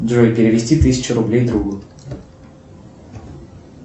джой перевести тысячу рублей другу